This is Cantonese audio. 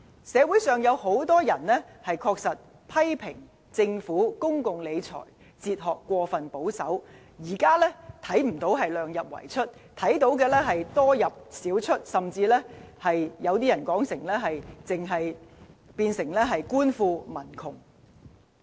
社會上確實有很多人批評政府公共理財哲學過分保守，看不到"量入為出"，只看到"多入少出"，甚至有人認為是"官富民窮"。